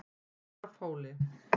Svarfhóli